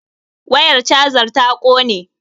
wayar chajar ta ƙone